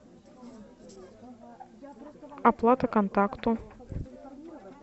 оплата контакту